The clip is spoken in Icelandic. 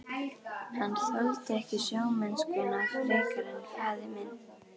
Hann þoldi ekki sjómennskuna frekar en faðir minn.